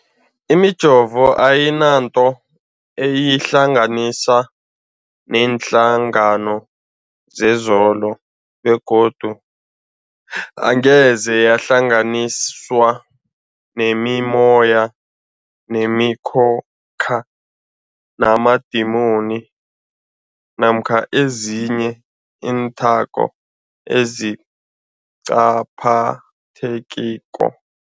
Imijovo ayinanto eyihlanganisa neenhlangano zekolo begodu angeze yahlanganiswa nemimoya, nemi khokha, namadimoni namkha ezinye iinthako ezingaphathekiko.